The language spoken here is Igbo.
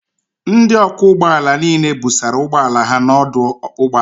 Ndị ọkwọ ụgbọ ala niile busara ụgbọala ha n'ọdụ ụgbọ ala